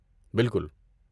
بالکل!